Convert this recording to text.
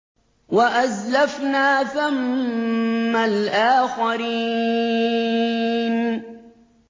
وَأَزْلَفْنَا ثَمَّ الْآخَرِينَ